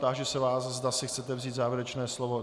Táži se vás, zda si chcete vzít závěrečné slovo.